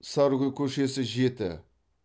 сарыгүл көшесі жеті